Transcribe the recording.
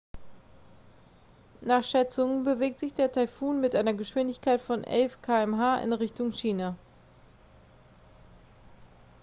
nach schätzungen bewegt sich der taifun mit einer geschwindigkeit von 11 km/h in richtung china